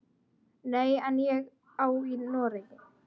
Nei, en ég á Noreg.